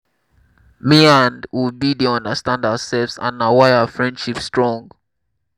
me and obi dey understand ourselves and na why our friendship strong